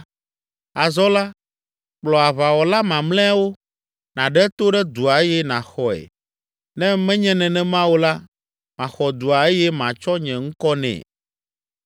Azɔ la, kplɔ aʋawɔla mamlɛawo, nàɖe to ɖe dua eye nàxɔe. Ne menye nenema o la, maxɔ dua eye matsɔ nye ŋkɔ nɛ.”